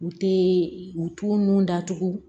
U tɛ u t'u nun datugu